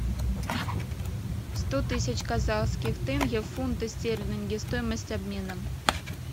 сто тысяч казахских тенге в фунты стерлинги стоимость обмена